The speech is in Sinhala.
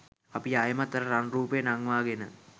අපි ආයෙමත් අර රන් රූපය නංවාගෙන